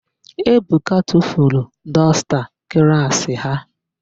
Ebuka tufuru dọsta klaasị ha.